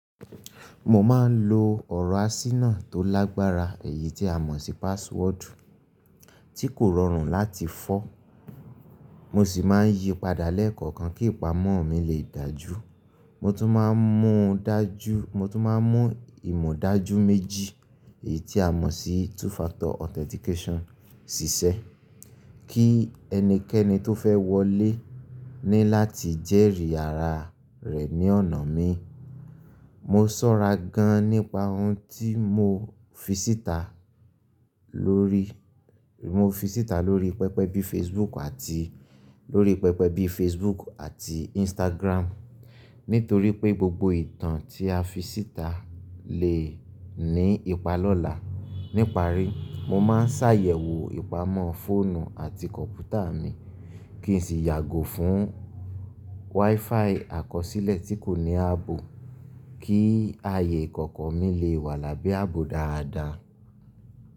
Mo maá ń lo ọ̀rọ̀ àsínà tó lágbára, èyí tí a mọ̀ sí password tí kò rọrùn láti fọ́. Mo sì máa ń yí padà lẹ́kọ̀ọ̀kan kí ìpamọ́ mi lè dájú. Mo tún máa ń mú ìmọ̀ dajú méjì, èyí tí a mọ̀ sí two factor authentication ṣiṣẹ́, kí ẹnikẹ́ni tó fẹ́ wọlé ní láti jẹ́rìí àrà rẹ̀ ní ọ̀nà mi. Mo sọ́ra gan-an nípa ohun tí mo fi síta lórí pẹpẹ bí Facebook àti Instagram, nítorí pé gbogbo ìtàn tí a fi síta lè ní ipa lọ́la. Ní parí, mo máa ń ṣàyẹ̀wò ìpamọ́ fóònú àti kọ̀m̀pútà mi, kí n sì yàgò fún WiFi àkọsílẹ̀ tí kò ní ààbò, kí ààyè ìkọ̀kọ̀ mi le wà lábẹ́ ààbò dáadáa.